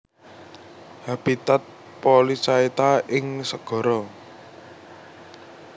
Habitat Polychaeta ing segara